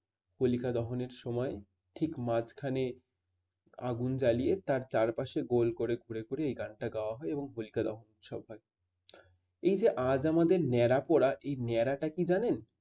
হোলিকা দহনের সময় ঠিক মাঝখানে আগুন জ্বালিয়ে তার চারপাশে গোল করে ঘুরে ঘুরে এই গানটা গাওয়া হয় এবং হোলিকা দহন উৎসব হয়। এই যে আজ আমাদের ন্যাড়া পোড়া এই ন্যাড়া টা কি জানেন?